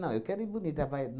Não, eu quero ir bonita. Vai